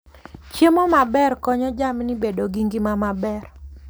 Chiemo maber konyo jamni bedo gi ngima maber.